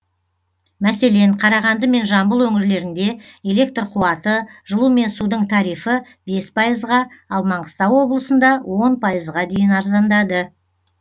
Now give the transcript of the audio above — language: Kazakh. мәселен қарағанды мен жамбыл өңірлерінде электр қуаты жылу мен судың тарифі бес пайызға ал маңғыстау облысында он пайызға дейін арзандады